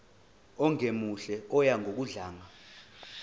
ongemuhle oya ngokudlanga